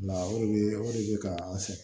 La o de be o de be ka an sɛgɛn